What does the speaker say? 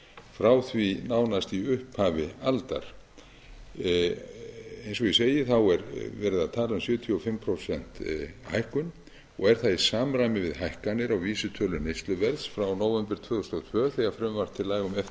frá því nánast í upphafi aldar eins og ég segi er verið að tala um sjötíu og fimm prósenta hækkun og er það í samræmi við hækkanir á vísitölu neysluverðs frá nóvember tvö þúsund og tvö þegar frumvarp til laga um eftirlit